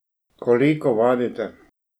Koliko vadite?